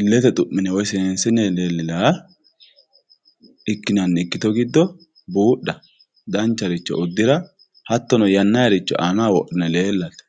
ilette xuminne woyi senisine lelinayiha ikinanni ikito giddo budha dancharicho udira hatono yanayiricho anaho wodhine lelatte